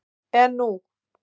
En nú?